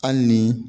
Hali ni